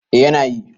eh yana yi